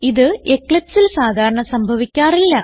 ഇത് Eclipseൽ സാധാരണ സംഭവിക്കാറില്ല